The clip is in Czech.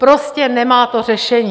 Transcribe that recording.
Prostě to nemá řešení.